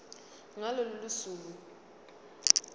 ngalo lolo suku